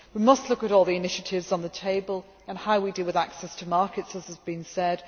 We must look at all the initiatives on the table and how we deal with access to markets, as has been said.